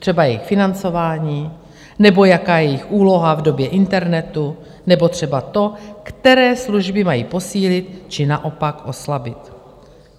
Třeba jejich financování, nebo jaká je jejich úloha v době internetu, nebo třeba to, které služby mají posílit či naopak oslabit.